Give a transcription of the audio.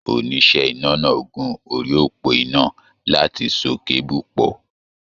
Oníṣẹ́ iná náà gun orí òpó iná láti so keebu pọ.